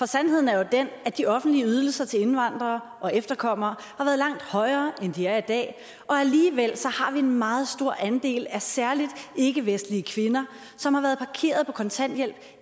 sandheden er jo at de offentlige ydelser til indvandrere og efterkommere har været langt højere end de er i dag og alligevel har vi en meget stor andel af særlig ikkevestlige kvinder som har været parkeret på kontanthjælp